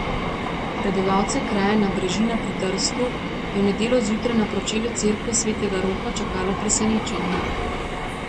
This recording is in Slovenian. Prebivalce kraja Nabrežina pri Trstu je v nedeljo zjutraj na pročelju cerkve svetega Roka čakalo presenečenje.